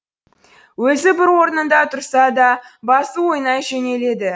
өзі бір орнында тұрса да басы ойнай жөнеледі